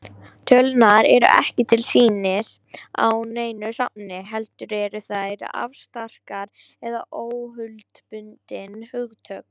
Tölurnar eru ekki til sýnis á neinu safni, heldur eru þær afstrakt eða óhlutbundin hugtök.